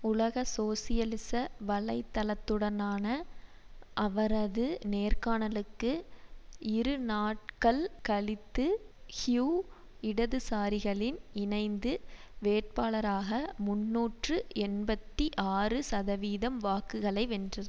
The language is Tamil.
உலக சோசியலிச வலை தளத்துடனான அவரது நேர்காணலுக்கு இரு நாட்கள் கழித்து ஹியூ இடதுசாரிகளின் இணைந்து வேட்பாளராக முன்னூற்று எண்பத்தி ஆறு சதவீதம் வாக்குகளை வென்றர்